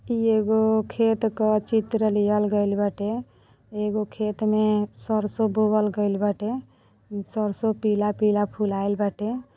ई एगो खेत क चित्र लिहल गइल बाटे एगो खेत मे सरसों बोवल गइल बाटे सरसों पीला-पीला फुलाईल बाटे।